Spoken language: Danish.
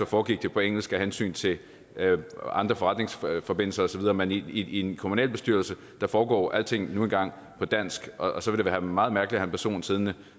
foregik på engelsk af hensyn til andre forretningsforbindelser og så videre men i en kommunalbestyrelse foregår alting nu engang på dansk og så ville det være meget mærkeligt at have en person siddende